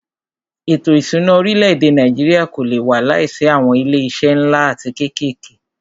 Ètò ìṣúná orílẹ̀-èdè Nàìjíríà kò lé wà láìsí awọn ilé iṣé nlá atí kékèké.